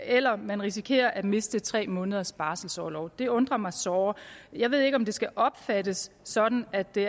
eller om man risikerer at miste tre måneders barselorlov det undrer mig såre jeg ved ikke om det skal opfattes sådan at det